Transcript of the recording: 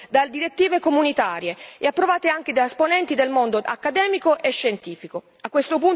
Sono alternative supportate, tra l'altro, da direttive comunitarie e approvate anche da esponenti del mondo accademico e scientifico.